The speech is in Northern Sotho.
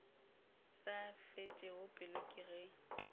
sa fetšego pelo ke ge